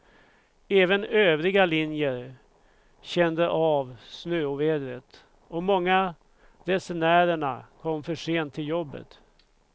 Även övriga linjer kände av snöovädret, och många resenärerna kom för sent till jobbet.